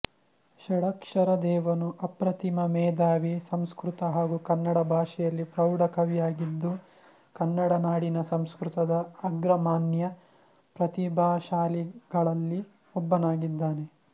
ಷಡಕ್ಷರದೇವನು ಅಪ್ರತಿಮ ಮೇಧಾವಿ ಸಂಸ್ಕೃತ ಹಾಗೂ ಕನ್ನಡ ಭಾಷೆಯಲ್ಲಿ ಪ್ರೌಢ ಕವಿಯಾಗಿದ್ದು ಕನ್ನಡನಾಡಿನ ಸಂಸ್ಕೃತದ ಅಗ್ರಮಾನ್ಯ ಪ್ರತಿಭಾಶಾಲಿಗಳಲ್ಲಿ ಒಬ್ಬನಾಗಿದ್ದಾನೆ